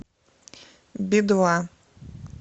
би два